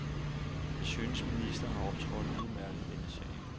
Jeg synes, ministeren har optrådt udmærket i denne sag.